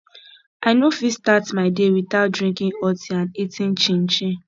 i no fit start my day without drinking hot tea and eating chinchin